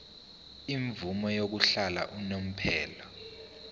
imvume yokuhlala unomphela